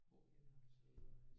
Hvorhenne har du så været ude at rejse?